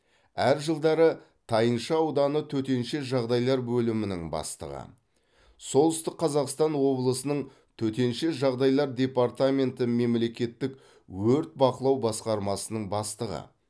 әр жылдары тайынша ауданы төтенше жағдайлар бөлімінің бастығы солтүстік қазақстан облысының төтенше жағдайлар департаменті мемлекеттік өрт бақылау басқармасының бастығы